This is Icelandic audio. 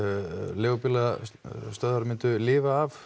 leigubílastöðvar myndu lifa af